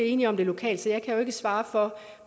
enige om det lokalt så jeg kan jo ikke svare for